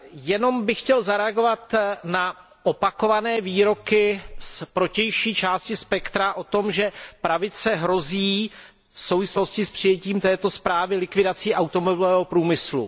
Jenom bych chtěl zareagovat na opakované výroky z protější části spektra o tom, že pravice hrozí v souvislosti s přijetím této zprávy likvidací automobilového průmyslu.